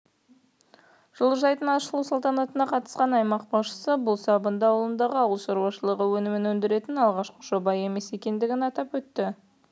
жылыжайдың ашылу салтанатына қатысқан аймақ басшысы бұл сабынды ауылындағы ауыл шаруашылығы өнімін өндіретін алғашқы жоба емес екендігін атап өтті